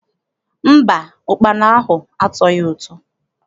Mba, ụkpana ahụ atọghị ụtọ.